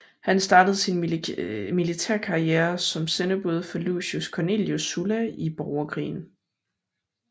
Han startede sin militærkarriere som sendebud for Lucius Cornelius Sulla i Borgerkrigen